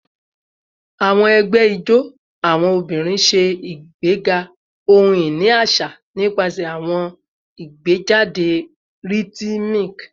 Awọn ẹgbẹ ijó awọn obinrin ṣe igbega ohun-ini aṣa nipasẹ awọn igbejade rhythmic